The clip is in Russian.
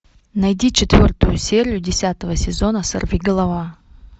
найди четвертую серию десятого сезона сорвиголова